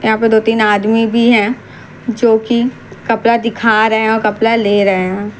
यहां पर दो तीन आदमी भी है जो की कपड़ा दिखा रहे हैं और कपला ले रहे हैं।